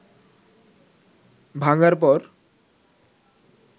ভাঙার পর